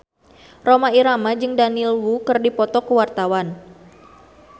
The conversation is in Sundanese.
Rhoma Irama jeung Daniel Wu keur dipoto ku wartawan